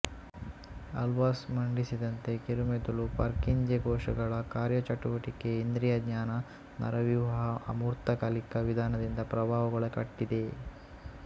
albus ಮಂಡಿಸಿದಂತೆ ಕಿರುಮೆದುಳು Purkinje ಕೋಶಗಳ ಕಾರ್ಯಚಟುವಟಿಕೆ ಇಂದ್ರಿಯ ಜ್ಞಾನ ನರವ್ಯೂಹವು ಅಮೂರ್ತ ಕಲಿಕಾ ವಿಧಾನದಿಂದ ಪ್ರಭಾವಕ್ಕೊಳಪಟ್ಟಿದೆ